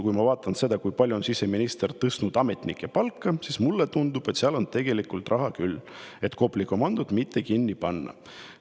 Kui ma vaatan seda, kui palju on siseminister tõstnud ametnike palka, siis seal on tegelikult küll raha, et Kopli komandot mitte kinni panna.